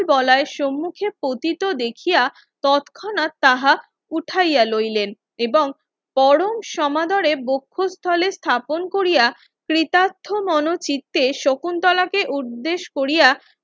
বলাই সম্মুখে পতিত দেখিয়া তৎক্ষণাৎ তাহা উঠাইয়া লইলেন এবং পরম সমাদরে বক্ষস্থলে স্থাপন কোরিয়া তৃথার্থ মনো চিত্তে শকুন্তলাকে উর্দেশ কোরিয়া